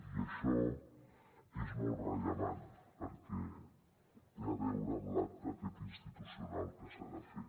i això és molt rellevant perquè té a veure amb l’acte aquest institucional que s’ha de fer